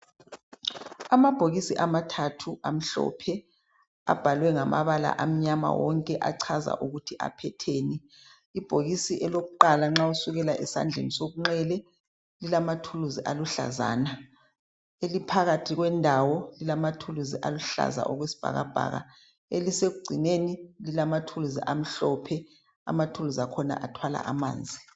amabhokisi amathathu amhlophe abhalwe ngamabala amnyama wonke achaza ukuthi aphetheni ibhokisi lokuqala nxa usukela esandleni sokunxele lilamathuluzi luhlazana eliphakathi kwendawo lilama thuluzi aluhlaza okwesibhakabhaka elisekugcineni lilamathuluzi amhlophe amathuluzi akhona athwala amanzi